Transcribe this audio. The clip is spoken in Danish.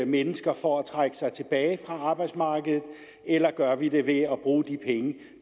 mennesker for at trække sig tilbage fra arbejdsmarkedet eller gør vi det ved at bruge de penge